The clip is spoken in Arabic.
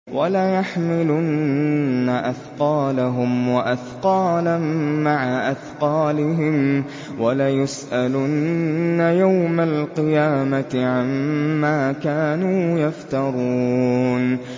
وَلَيَحْمِلُنَّ أَثْقَالَهُمْ وَأَثْقَالًا مَّعَ أَثْقَالِهِمْ ۖ وَلَيُسْأَلُنَّ يَوْمَ الْقِيَامَةِ عَمَّا كَانُوا يَفْتَرُونَ